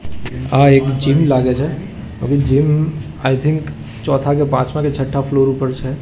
આ એક જીમ લાગે છે જીમ આઈ થિંક ચોથા કે પાંચમાં કે છઠ્ઠા ફ્લોર ઉપર છે.